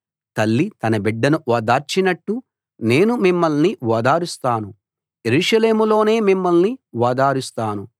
తల్లి తన బిడ్డను ఓదార్చినట్టు నేను మిమ్మల్ని ఓదారుస్తాను యెరూషలేములోనే మిమ్మల్ని ఓదారుస్తాను